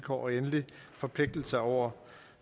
og endelig forpligtelser over